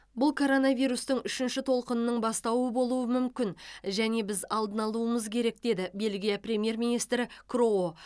бұл коронавирустың үшінші толқынының бастауы болуы мүмкін және біз алдын алуымыз керек деді бельгия премьер министрі кроо